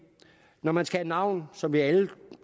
når man skal have navn som vi alle